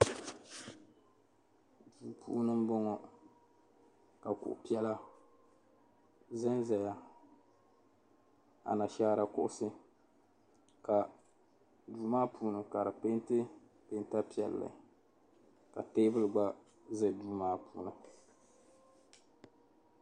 Duu puuni m-bɔŋɔ ka kuɣ' piɛla zanzaya anashaara kuɣisi ka duu maa puuni ka di peenti peenta piɛlli ka teebuli gba za duu maa puuni.